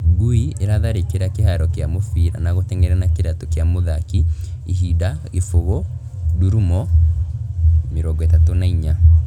Ngui irathari͂ki͂ra ki͂haro ki͂a mu͂bira na gu͂tenge’era na ki͂raatu͂ ki͂a mu͂thaki, ihinda 0:34.